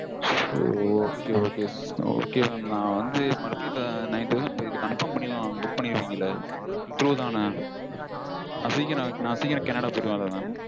So okay okay. okay mam. நா வந்து மறுபடியும் night வந்து confirm பண்ணிக்கலாம்ல book பண்ணிருக்கீங்கல்ல true -தான? நா சீக்கரம் கனடா போயிருவேன்ல mam?